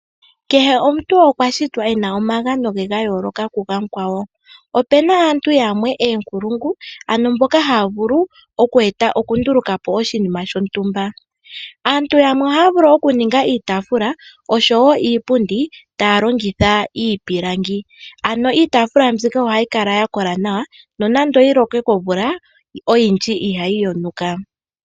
Kehe omuntu okwa shitwa ena omagano ge gayoloka ku gamukwawo. Opena aantu yamwe oonkulungu ano mboka haa vulu okwe eta oku nduluka oshinima shontumba. Aantu yamwe ohaya vule oku nduluka po iitafula oshowo iipundi taa longitha iipilangi. Ano iitafula mbika oha yi kala ya kola nawa nonando oyi lokwe komvula oyindji ihayi yonuka.